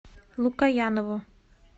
лукоянову